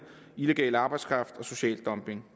illegal arbejdskraft og social dumping